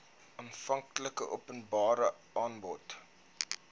aanvanklike openbare aanbod